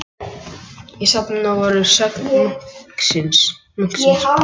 Í safninu voru að sögn munksins